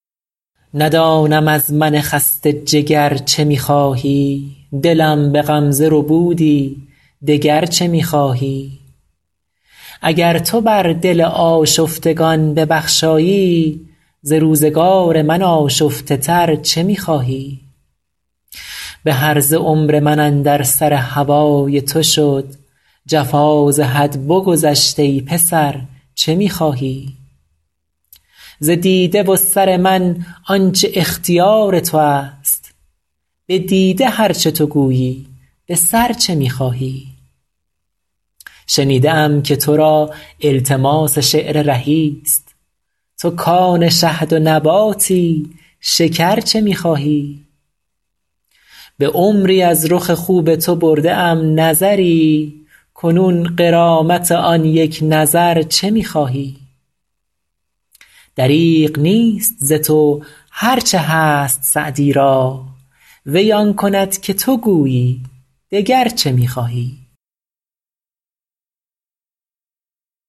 ندانم از من خسته جگر چه می خواهی دلم به غمزه ربودی دگر چه می خواهی اگر تو بر دل آشفتگان ببخشایی ز روزگار من آشفته تر چه می خواهی به هرزه عمر من اندر سر هوای تو شد جفا ز حد بگذشت ای پسر چه می خواهی ز دیده و سر من آن چه اختیار تو است به دیده هر چه تو گویی به سر چه می خواهی شنیده ام که تو را التماس شعر رهی ست تو کآن شهد و نباتی شکر چه می خواهی به عمری از رخ خوب تو برده ام نظری کنون غرامت آن یک نظر چه می خواهی دریغ نیست ز تو هر چه هست سعدی را وی آن کند که تو گویی دگر چه می خواهی